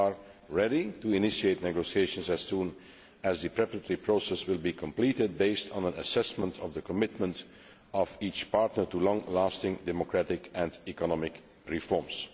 We are ready to initiate negotiations as soon as the preparatory process is completed, based on an assessment of the commitment of each partner to long lasting democratic and economic reforms.